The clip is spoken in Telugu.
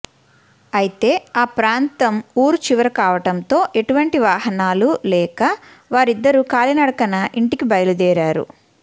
అయితే ఆ ప్రాంతం ఊరు చివర కావడంతో ఎటువంటి వాహనాలు లేక వారిద్దరూ కాలినడకన ఇంటికి బయలుదేరారు